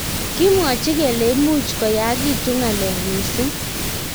kimwachi kele imuch koyakitun ngalek missing